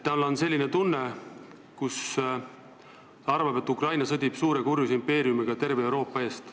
Tal on selline tunne, et Ukraina sõdib suure kurjuse impeeriumiga terve Euroopa eest.